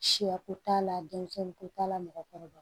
Siyako t'a la denmisɛnninko t'a la mɔgɔkɔrɔba